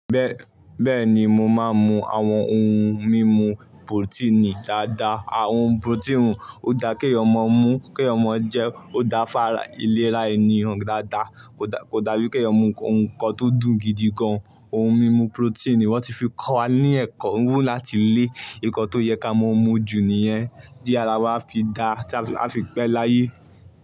Bẹ́ẹ̀ni mo máa ń mú àwọn ohun mímu porotíìnì dáadáa. Àwọn porotíìnì ó dá kí ọmọ mú, kí ọmọ jẹ, ó dáfa ìlera ènìyàn dáadáa. Kò dàbí kí èèyàn mú nnkan tó dùn gidi gan. Ohun mímu porotíìnì wọ́n ti fi kọ́ wa ní ẹ̀kọ́, wù láti lé, ǹkan tó yẹ ká mọ mu jù níyẹn. Tí ara wa fi dá, tí ara wa fi pé láyé.